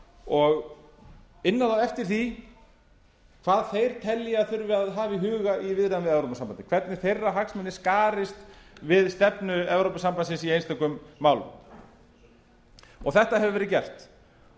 og inna þá eftir því hvað þeir telja að hafa þurfi í huga í viðræðum við evrópusambandið hvernig þeirra hagsmunir skarist við stefnu evrópusambandsins í einstökum málum þetta hefur verið gert